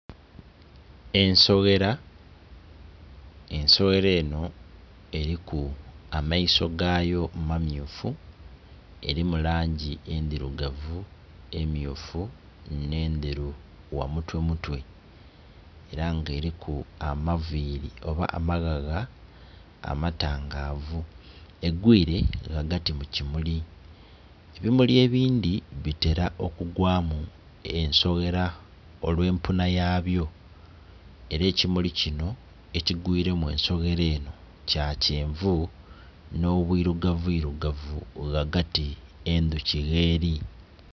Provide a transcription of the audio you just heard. Ensoghera, ensoghera enho eliku amaiso gayo mamyufu erimu langi endhirugavu, emyufu nhe ndheru gha mutwe mutwe era nga eliku amaviri oba amaghagha amata gavu. Egwire ghagati mu kimuli. Ebimuli ebindhi bitera okugwamu ensoghera olwe empunha yabyo era ekimuli kinho ekigwiremu ensoghera enho kya kyenvu nho bwirugavu irugavu ghagati ensoghera gheli.